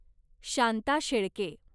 Shanta Shelke